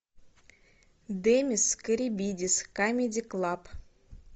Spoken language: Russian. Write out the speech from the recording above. демис карибидис камеди клаб